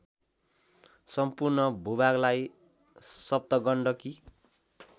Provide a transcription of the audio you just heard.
सम्पूर्ण भूभागलाई सप्तगण्डकी